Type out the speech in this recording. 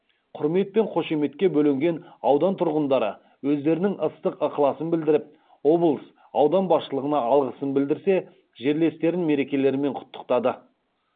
құрмет пен қошеметке бөленген аудан тұрғындары өздерінің ыстық ықыласын білдіріп облыс аудан басшылығына алғысын білдірсе жерлестерін мерекелерімен құттықтады